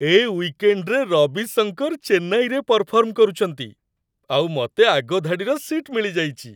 ଏ ୱିକେଣ୍ଡ୍‌ରେ ରବି ଶଙ୍କର ଚେନ୍ନାଇରେ ପରଫର୍ମ କରୁଚନ୍ତି, ଆଉ ମତେ ଆଗ ଧାଡ଼ିର ସିଟ୍ ମିଳିଯାଇଚି!